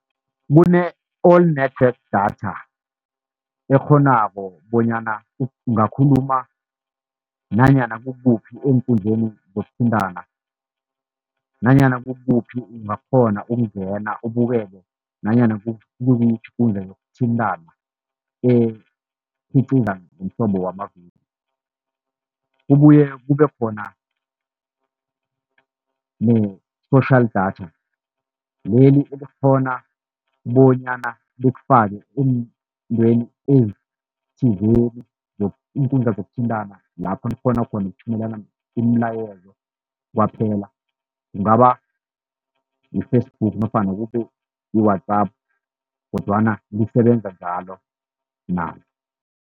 Kune-all network data ekghonako bonyana ungakhuluma nanyana kukuphi eenkundleni zokuthintana, nanyana kukuphi ungakghona ukungena ubukele nanyana kuyiphi ikundla yokuthintana ekhiqiza ngemihlobo yamavidiyo. Kubuye kube khona ne-social data leli elikghona bonyana likufake eentweni ezithizeni, iinkundla zokuthintana lapha nikghona khona ukuthumelana imilayezo kwaphela, kungaba yi-Facebook nofana kube yi-WhatsApp kodwana lisebenza njalo nalo.